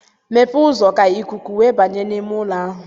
Mepee ụzọ ka ikuku wee banye n'ime ụlọ ahụ.